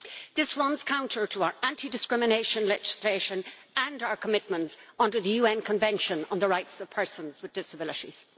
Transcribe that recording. This runs counter to our anti discrimination legislation and our commitments under the UN Convention on the Rights of Persons with Disabilities.